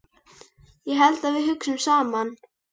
Ég held að við hugsum saman.